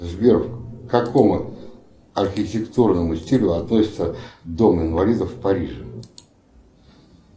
сбер к какому архитектурному стилю относится дом инвалидов в париже